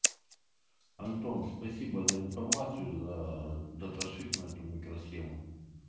антон спасибо за информацию за даташит на эту микросхему